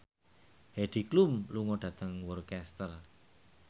Heidi Klum lunga dhateng Worcester